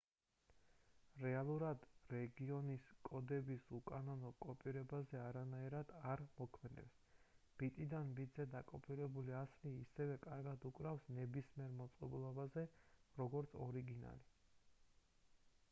რეალურად რეგიონის კოდები უკანონო კოპირებაზე არანაირად არ მოქმედებს ბიტიდან ბიტზე დაკოპირებული ასლი ისევე კარგად უკრავს ნებისმიერ მოწყობილობაზე როგორც ორიგინალი